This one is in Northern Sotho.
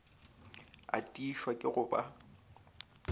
a tiišwa ke go ba